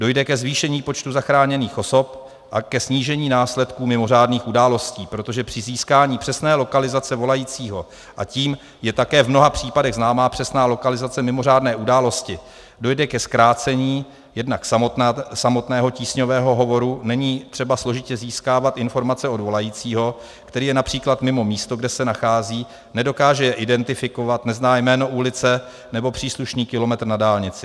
Dojde ke zvýšení počtu zachráněných osob a ke snížení následků mimořádných událostí, protože při získání přesné lokalizace volajícího, a tím je také v mnoha případech známá přesná lokalizace mimořádné události, dojde ke zkrácení jednak samotného tísňového hovoru - není třeba složitě získávat informace od volajícího, který je například mimo místo, kde se nachází, nedokáže je identifikovat, nezná jméno ulice nebo příslušný kilometr na dálnici.